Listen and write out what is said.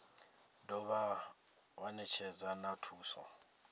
dovha wa netshedza na thuso